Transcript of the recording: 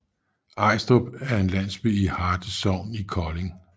Ejstrup er en landsby i Harte Sogn i Kolding